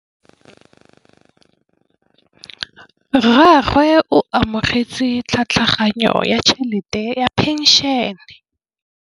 Rragwe o amogetse tlhatlhaganyô ya tšhelête ya phenšene.